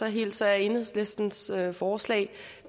hilser jeg enhedslistens forslag